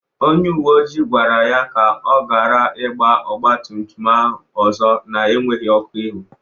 Onye uwe ojii gwara ya ka ọ gara igba ọgbatumtum a ọzọ na-enweghi ọkụ ihu.